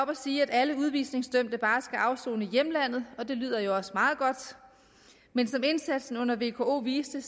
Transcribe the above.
og sige at alle udvisningsdømte bare skal afsone i hjemlandet og det lyder også meget godt men som indsatsen under vko viste